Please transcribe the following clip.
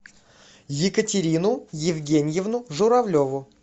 екатерину евгеньевну журавлеву